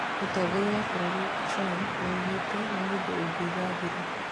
Mũtongoria wa bũrũri Trump nĩoigĩte "nĩ mũndũ ũngĩiga thiri"